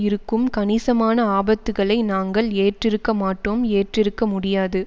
இருக்கும் கணிசமான ஆபத்துக்களை நாங்கள் ஏற்றிருக்க மாட்டோம் ஏற்றிருக்க முடியாது